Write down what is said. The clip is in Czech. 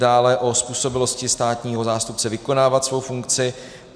Dále o způsobilosti státního zástupce vykonávat svou funkci.